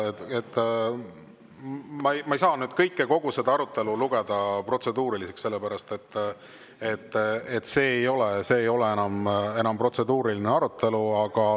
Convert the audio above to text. Ma ei saa kogu seda arutelu lugeda protseduuriliseks, sellepärast et see ei ole enam protseduuriline arutelu.